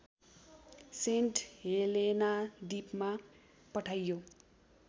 saint Helena द्वीपमा पठाइयो